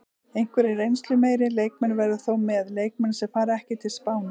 Einhverjir reynslumeiri leikmenn verða þó með, leikmenn sem fara ekki til Spánar.